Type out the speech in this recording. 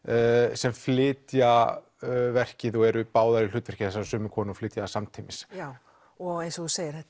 sem flytja verkið og eru báðar í hlutverki þessarar sömu konu flytja það samtímis já og eins og þú segir þetta